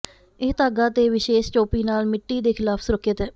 ਇਹ ਧਾਗਾ ਤੇ ਵਿਸ਼ੇਸ਼ ਟੋਪੀ ਨਾਲ ਮਿੱਟੀ ਦੇ ਖਿਲਾਫ ਸੁਰੱਖਿਅਤ ਹੈ